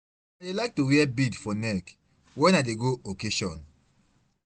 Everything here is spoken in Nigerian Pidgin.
I dey like to wear bead for neck when I dey go occasion.